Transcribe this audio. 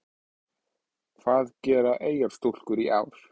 Hvað gera Eyjastúlkur í ár?